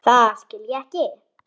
Það skil ég ekki.